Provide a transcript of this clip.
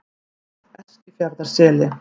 Eskifjarðarseli